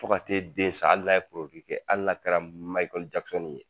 Fo ka t'e den sa hali n'a ye kɛ hali n'a kɛra Mickeal Jackson ye